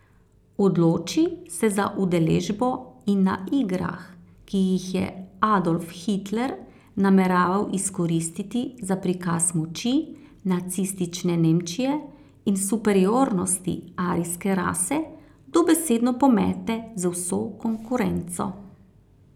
Odloči se za udeležbo in na igrah, ki jih je Adolf Hitler nameraval izkoristiti za prikaz moči nacistične Nemčije in superiornosti arijske rase, dobesedno pomete z vso konkurenco.